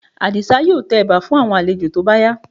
Àdìsá yóò tẹ ẹ̀bà fún àwọn àlejò tó bá yá